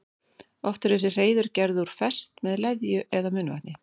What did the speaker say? Oft eru þessi hreiður gerð úr og fest með leðju eða munnvatni.